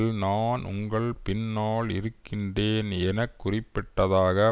நான் உங்கள் பின்னால் இருக்கின்றேன் என குறிப்பிட்டதாக